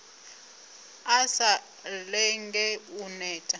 a sa lenge u neta